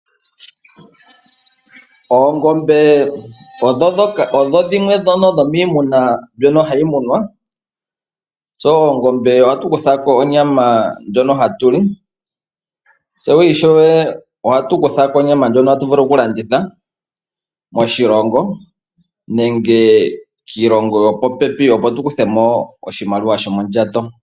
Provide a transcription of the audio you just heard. Oongombe odho dhimwe dhomiimuna mbyono hayi munwa. Koongombe ohaku zi onyama ndjono hatu li noshowo ndjono tayi vulu okukandithwa moshilongo nenge pondje yoshilongo muze oshimaliwa shomondjato.